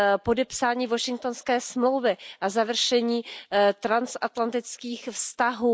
podepsání Washingtonské smlouvy a završení transatlantických vztahů.